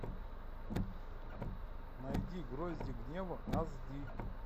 найди грозди гнева аш ди